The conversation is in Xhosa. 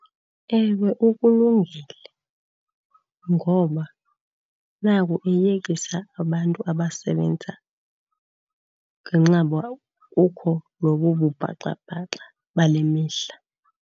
Ewe, ukulungele ngoba naku eyekisa abantu abasebenza ngenxa uba kukho lobu bubhaxabhaxa bale mihla.